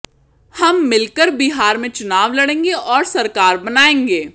हम मिलकर बिहार में चुनाव लड़ेगे और सरकार बनाएंगे